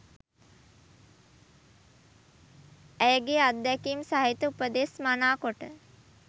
ඇයගේ අත්දැකීම් සහිත උපදෙස් මනා කොට